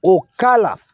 O k'a la